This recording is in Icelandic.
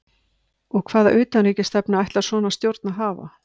Og hvaða utanríkisstefnu ætlar svona stjórn að hafa?